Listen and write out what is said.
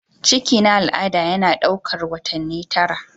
ciki na al'ada yana ɗaukar watanni tara